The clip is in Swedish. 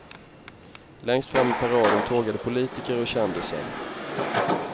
Längst fram i paraden tågade politiker och kändisar.